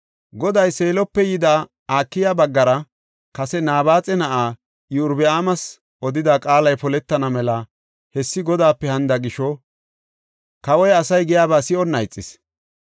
Goday Seelope yida Akiya baggara kase Nabaaxa na7aa Iyorbaamas odida qaalay poletana mela hessi Godaape hanida gisho kawoy asay giyaba si7onna ixis.